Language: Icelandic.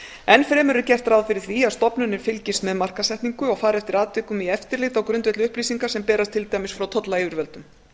ennfremur er gert ráð fyrir því að stofnunin fylgist með markaðssetningu og fari eftir atvikum í eftirlit á grundvelli upplýsinga sem berast til dæmis frá tollyfirvöldum